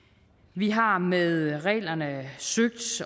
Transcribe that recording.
vi har med reglerne søgt